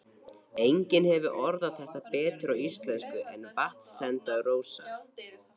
Enginn hefur orðað þetta betur á íslensku en Vatnsenda-Rósa